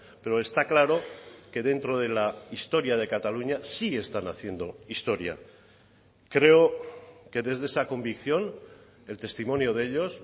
pero está claro que dentro de la historia de cataluña sí están haciendo historia creo que desde esa convicción el testimonio de ellos